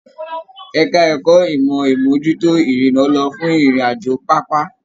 Ẹka ẹ̀kọ́ ìmọ imojuto irinna lọ fún ìrìn àjò pápá.